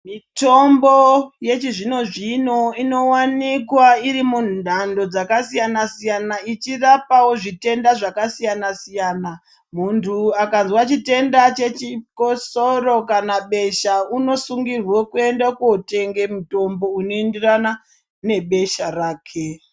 Mitombo yechizvino-zvino inovanikwa iri mumhando dzakasiyana-siyana, ichirapavo zvitenda zvakasiyana-siyana. Muntu akazwa chitenda chechikosoro kana besha unosungirwe kuende kotenge mitombo unoenderana nebesha rake.